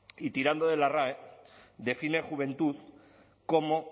y tirando de la rae define juventud como